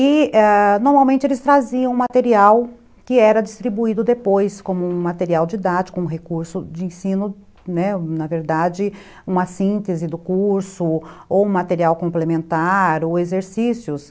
E, ãh, normalmente eles traziam material que era distribuído depois, como um material didático, um recurso de ensino, né, na verdade uma síntese do curso, ou um material complementar, ou exercícios.